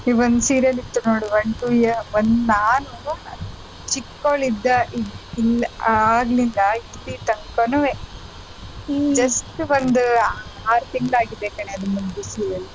ಒಂದ್ serial ಇತ್ತು ನೋಡು one two year ಒಂದ್ ನಾನೂ ಚಿಕ್ಕವಳಿದ್ದ ಇಂದ ಆಗ್ಲಿಂದ ಇಲ್ಲಿ ತನ್ಕಾನುವೆ just ಒಂದ್ ಆರ್ ತಿಂಗ್ಳು ಆಗಿದೆ ಕಣೆ ಅದು ಮುಗ್ದು serial .